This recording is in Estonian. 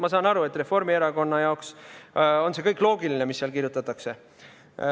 Ma saan aru, et Reformierakonna jaoks on see kõik loogiline, mis seal kirjutatakse.